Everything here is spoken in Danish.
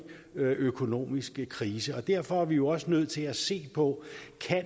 økonomisk krise og derfor er vi også nødt til at se på